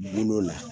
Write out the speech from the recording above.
Bolo la